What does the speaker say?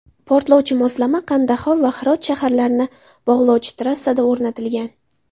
Portlovchi moslama Qandahor va Hirot shaharlarini bog‘lovchi trassada o‘rnatilgan.